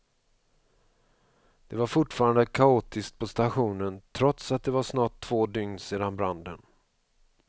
Det var fortfarande kaotiskt på stationen, trots att det var snart två dygn sedan branden.